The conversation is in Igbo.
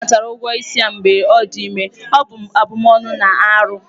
A natara ụgwọ isi ya mgbe ọ dị ime, ọ bụ abụmọnụ na arụ.